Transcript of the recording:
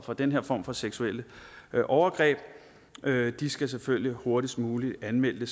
for den her form for seksuelle overgreb skal selvfølgelig hurtigst muligt anmelde